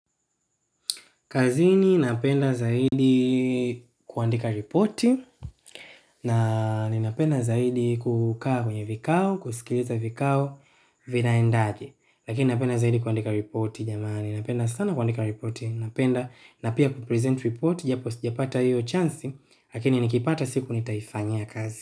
Kazini napenda zaidi kuandika reporti na ninapenda zaidi kukaa kwenye vikao, kusikiliza vikao, vinaendaje. Lakini napenda zaidi kuandika ripoti, jamani. Napenda sana kuandika repoti. Napenda na pia kupresent repoti, japo sijapata hiyo chansi, lakini nikipata siku nitaufanyia kazi.